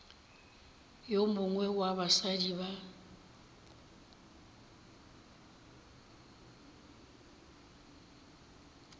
yo mongwe wa basadi ba